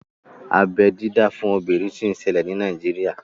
Abeẹ dídá fún obìnrin sì ń ṣẹlẹ̀ ní Nàíjírìà